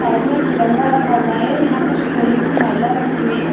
Side में एक तिरंगा रखा हुआ है। यहाँ कुछ फूलो की माला रखी हुई है।